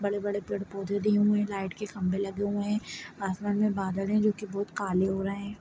बड़े बड़े पेड़- पौधे दिए हुए हैं लाइट के खंबे लगे हुए है आसमान मे बादल है जो की बहुत काले हो रहें है।